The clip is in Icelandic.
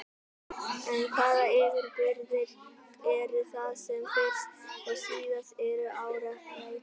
En hvaða yfirburðir eru það sem fyrst og síðast eru áréttaðir?